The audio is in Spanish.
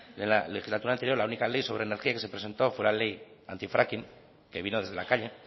en la legislatura anterior la única ley sobre energía que se presentó fue la ley antifracking que vino desde la calle